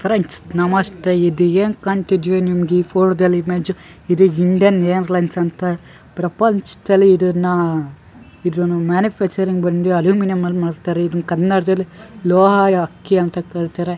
Friends ನಮಸ್ತೆ ಇದು ಏನ್ ಕಾಣ್ತಿದಿಯೊ ನಿಮ್ಗ್ ಈ ಫೋಟ್ದಲ್ಲಿ ಇಮೇಜು ಇದು ಇಂಡಿಯನ್ ಏರ್ಲೈನ್ಸ್ ಅಂತ ಪ್ರಪಂಚ್ದಲ್ಲಿ ಇದ್ರ್ನ್ನಾ ಇದ್ರ್ನ್ನು ಮ್ಯಾನುಫ್ಯಾಕ್ಚರಿಂಗ್ ಬಂದು ಅಲ್ಯೂಮಿನಿಯಂ ಅಲ್ ಮಾಡ್ತಾರೆ ಇದನ್ ಕನ್ನಡ್ದಲ್ಲಿ ಲೋಹಾಯ ಅಕ್ಕಿ ಅಂತ ಕರೀತಾರೆ.